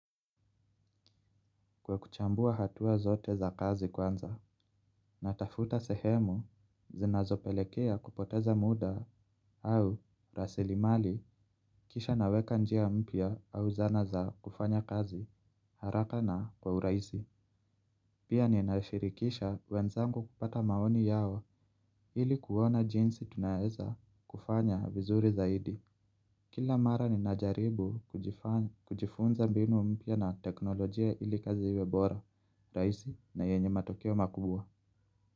Kwa kuchambua hatua zote za kazi kwanza, natafuta sehemu zinazopelekea kupoteza muda au rasilimali kisha naweka njia mpya au zana za kufanya kazi haraka na kwa urahisi. Pia ninashirikisha wenzangu kupata maoni yao ili kuona jinsi tunaweza kufanya vizuri zaidi. Kila mara ninajaribu kujifunza mbinu mpya na teknolojia ili kazi iwe bora. Rahisi na yenye matokeo makubwa.